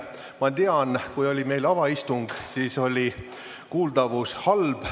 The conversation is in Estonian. Ma tean, et kui meil oli avaistung, siis oli kuuldavus halb.